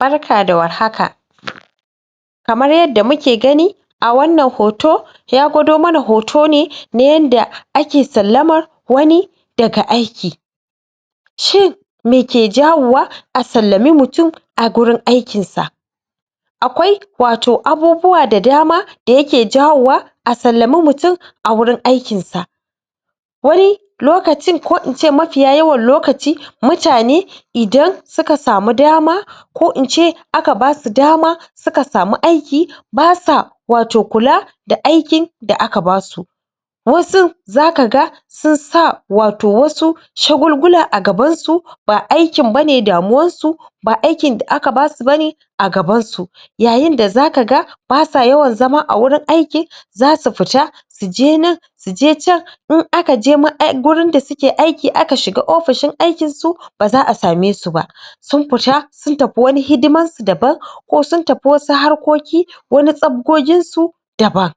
barka da warhaka kamar yadda muke ganin a wannan hot ya gwado mana hoto ne na yadda ake sallama wani daga aiki shin meke jawo wa a sallami mutum a gurin aikinsa akwai wato abubuwa da dama da yake jawowa a sallami mutum a wurin aikin sa wani lokacin ko ince mafiya yawan lokaci mutane idan suka samu dama ko ince aka basu dama suka samu aiki basu wato kula da aikin da aka basu wasu zaka ga sun sa wato wasu shagulgula a gaban su ba aikin bane damuwan su ba aikin da aka basu bane a gabansu yayin da zaka ga basu yawan zama a gurin aikinsu zasu fita suje nan suje chan in akaje gurin da suke aikin aka shiga ofishin aikin su baza'a same su ba sun fita sun tafi wani hidimansu daban ko sun tafi wasu harkokinsu wani safgogin su daban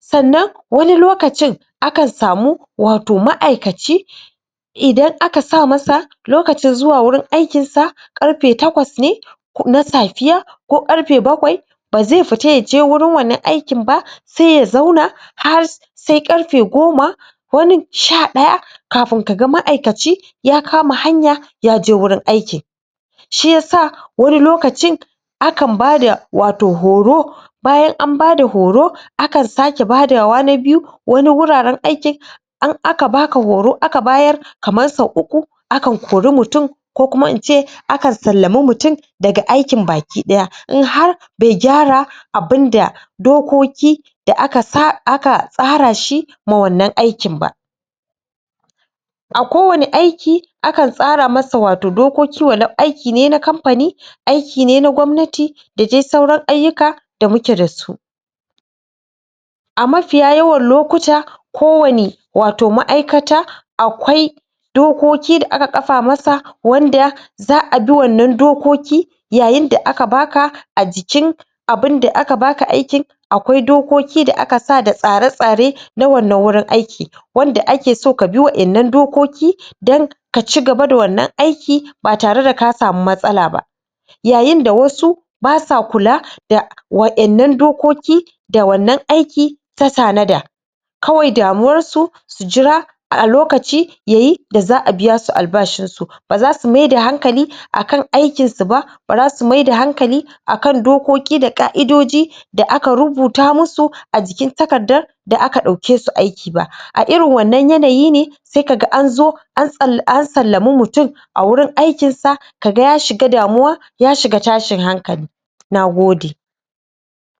sannan wani lokacin akan samu wato ma'aikaci idan aka sa masa lokacin zuwa wurin aikinsa karfe takwas ne na safiya ko karfe bakwai ba zai fita yaje wannan gurin aikin ba sai ya zauna har sai karfe goma wanin sha daya kafin kaga ma'aikaci ya kama hanya ya je gurin aiki shiyasa wani lokacin akan bada wato horo bayan an bada horo aka sake badawa na biyu wani wuraren aikin in aka baka horo aka bayar kamar sau uku akan kori mutum ko kuma ince akan sallami mutum daga aikin baki daya in har baigyara abun da dokoki da akasa aka tsarashi ma wannan aikin ba a kowani aiki akan tsara masa dokoki wa lau aiki ne na kamfani aiki ne na gobnati da dai saura ayyuka da muke dasu a mafiya yawan lokuta ko wani ma'aikata akwai dokoki wanda aka kafa mata za'a bi wannan dokoki yayin da aka baka ajikin abun da aka baka aikin akwai dokoki da aka saka da tsare-tsare na wannan wurin aiki wanda ake so kabi wannan dokoki don kaci gaba da wannan aiki ba tare da ka samu matsalaba yayin da wasu basu kula da wayan nan dokoki da wannan aiki ta tanada kawai da muwarsu su jira lokaci yayi da za'a biyasu albashin su bazasu maida hankali akan aikin su ba basu su maida hankali akan dokoki da ƙa'idoji da aka rubuta musu ajikin takardan da aka dauke su aiki ba a irin wannan yanayi ne saika ga anzo ansallami mutum an gurin aikin sa kaga ya shiga damuwa ya shiga tashin hankali nagode